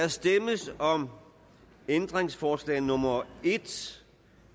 der stemmes om ændringsforslag nummer en